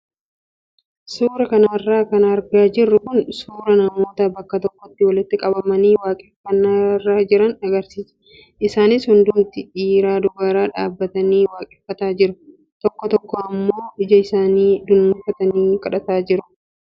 Suuraa kanarra kan argaa jirru kun suuraa namoota bakka tokkotti walitti qabamanii waaqeffannaa irra jiran agarsiisa. Isaanis hundumtuu dhiiraa dubarri dhaabbatanii waaqeffataa jiru. Tokko tokko immoo ija isaanii dunuunfatanii kadhataa jiru.